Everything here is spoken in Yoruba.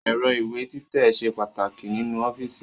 Ẹ̀rọ ìwé títẹ̀ ṣe pàtàkì nínú ọ́fíìsì